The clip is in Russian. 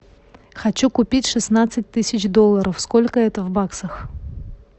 хочу купить шестнадцать тысяч долларов сколько это в баксах